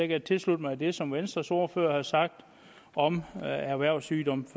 kan tilslutte mig det som venstres ordfører har sagt om erhvervssygdomme